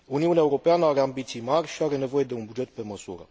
Uniunea Europeană are ambiții mari și are nevoie de un buget pe măsură.